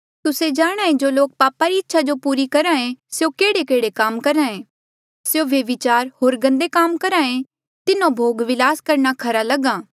तुस्से जाणांहे जो लोक पापा री इच्छा जो पूरी करहे स्यों केहड़ेकेहड़े काम करहे स्यों व्यभिचार होर गंदे काम करहे तिन्हो भोगबिलास करना खरा लगहा